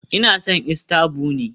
Ina son Easter bunny